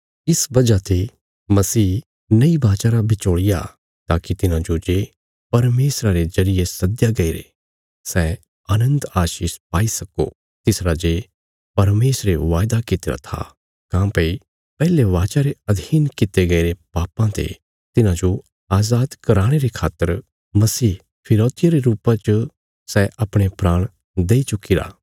इस वजह ते मसीह नई वाचा रा बिचौल़िया ताकि तिन्हांजो जे परमेशरा रे जरिये सद्दया गईरे सै अनन्त आशीष पाई सक्को तिस राजे परमेशरे वायदा कित्तिरा था काँह्भई पैहले वाचा रे अधीन कित्ते गईरे पापां ते तिन्हांजो अजाद कराणे रे खातर मसीह फिरौतिया रे रुपा च सै अपणे प्राण देई चुक्कीरा